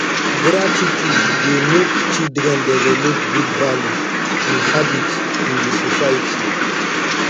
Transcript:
gratitude dey make children develop good values and habits in the society